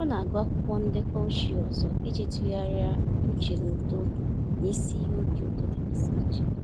Ọ na-agụ akwụkwọ ndekọ ochie ọzọ iji tụgharịa uche na uto na isi iyi obi ụtọ dịgasị iche.